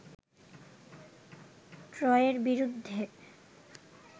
ট্রয়ের বিরুদ্ধে